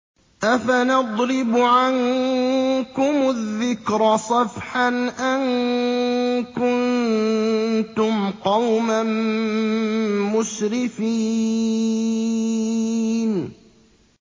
أَفَنَضْرِبُ عَنكُمُ الذِّكْرَ صَفْحًا أَن كُنتُمْ قَوْمًا مُّسْرِفِينَ